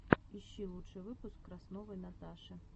ищи лучший выпуск красновой наташи